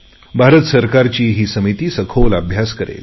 भारत सरकारची ही समिती सखोल अभ्यास करेल